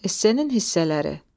Essenin hissələri.